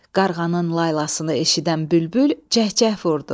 Qarğanın laylasını eşidən bülbül cəhcəh vurdu.